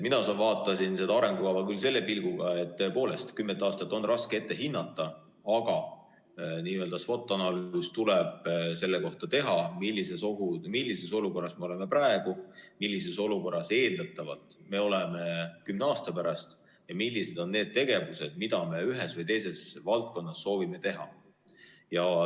Mina vaatasin seda arengukava küll selle pilguga, et tõepoolest on kümmet aastat raske ette hinnata, aga SWOT-analüüs tuleb teha selle kohta, millises olukorras me oleme praegu, millises olukorras me eeldatavalt oleme kümne aasta pärast ja millised on need tegevused, mida me ühes või teises valdkonnas soovime teha.